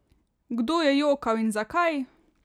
Kdo je jokal in zakaj?